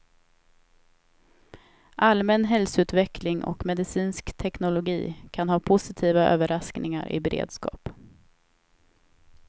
Allmän hälsoutveckling och medicinsk teknologi kan ha positiva överraskningar i beredskap.